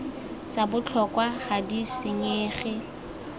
tsa botlhokwa ga di senyege